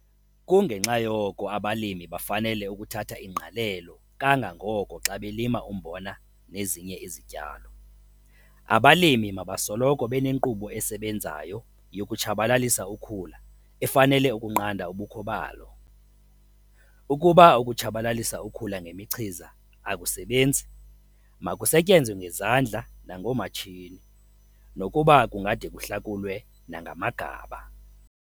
Kungenxa yoko abalimi bafanele ukuthatha ingqalelo kangangoko xa belima umbona nezinye izityalo. Abalimi mabasoloko benenkqubo esebenzayo yokutshabalalisa ukhula efanele ukunqanda ubukho balo. Ukuba ukutshabalalisa ukhula ngemichiza akusebenzi, makusetyenzwe ngezandla nangoomatshini, nokuba kungade kuhlakulwe nangamagaba.